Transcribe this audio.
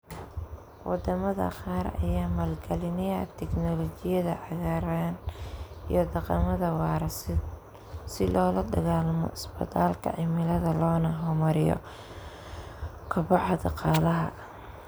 Wadamada qaar ayaa maalgalinaya tignoolajiyada cagaaran iyo dhaqamada waara si loola dagaalamo isbadalka cimilada loona hormariyo koboca dhaqaalaha.